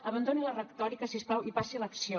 abandoni la retòrica si us plau i passi a l’acció